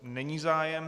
Není zájem.